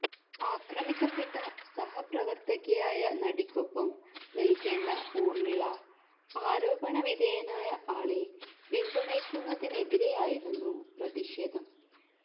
ആക്രമിക്കപ്പെട്ട സഹപ്രവര്ത്തകയായ നടിക്കൊപ്പം നില്ക്കേണ്ട ഊര്മിള ആരോപണ വിധേയനായ ആളെ പിന്തുണയ്ക്കുന്നതിനെതിരെയായിരുന്നു പ്രതിഷേധം